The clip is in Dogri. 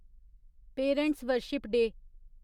parents' worship day